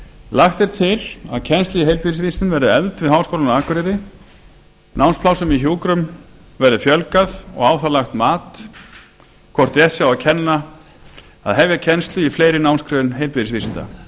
lagt er til að kennsla í heilbrigðisvísindum verði efld við háskólann á akureyri námsplássum í hjúkrun verði fjölgað og á það lagt mat hvort rétt sé að hefja kennslu í fleiri námsgreinum heilbrigðisvísinda